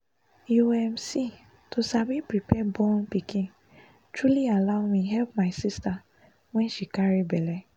you um see to sabi prepare born pikin truly allow me help my sister when she carry belle